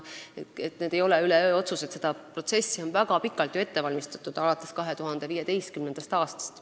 Need ei ole üleöö tehtud otsused, seda protsessi on ju väga pikalt ette valmistatud, alates 2015. aastast.